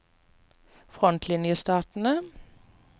frontlinjestatene